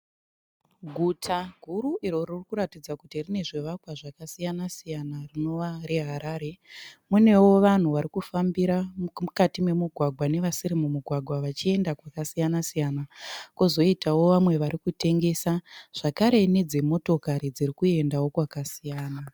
Guta guru iro ririkuratidza kuti rine zvivakwa zvakasiyana- siyana rinova reHarare. Munewo vanhu varikufambira mukati memugwagwa nevasiri mumugwagwa vachienda kwakasiyana -siyana . Kwozoitawo vamwe varikutengesa. Zvakare nedzimotokari dzirikuendawo kwakasiyana.